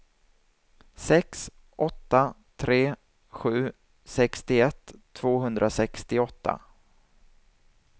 sex åtta tre sju sextioett tvåhundrasextioåtta